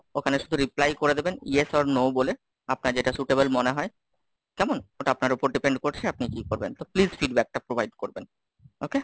ওখানে শুধু reply করে দেবেন yes or no বলে, আপনার যেটা suitable মনে হয়, কেমন? ওটা আপনার ওপর depend করছে, আপনি কি করবেন? তো please feedback টা provide করবেন। okay,